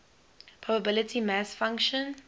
probability mass function